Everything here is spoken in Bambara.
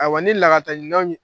Ayiwa ni lakalita ɲininaw